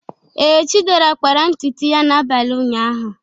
Ee, Chidera kpara ntutu ya n'abalị ụnyaahụ.